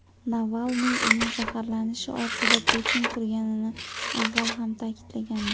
Navalniy uning zaharlanishi ortida Putin turganini avval ham ta’kidlagandi .